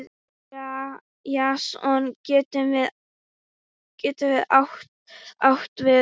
Jason getur átt við